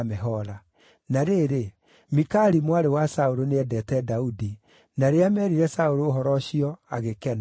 Na rĩrĩ, Mikali mwarĩ wa Saũlũ nĩendeete Daudi, na rĩrĩa meerire Saũlũ ũhoro ũcio, agĩkena.